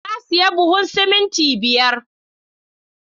Na siya buhun simintin biyar